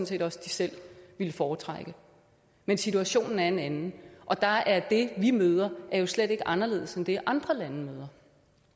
set også de selv ville foretrække men situationen er en anden og der er det vi møder slet ikke anderledes end det andre lande møder